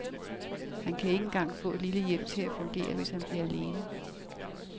Han kan ikke engang få et lille hjem til at fungere, hvis han bliver alene.